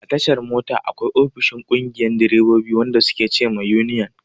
A tashar mota, akwai ofishin ƙungiyar direbobi, wanda su ke ce ma yuniyan.